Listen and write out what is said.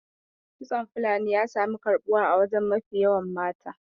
Kitson fulani ya sami karbuwa a wajen mafi yawan mata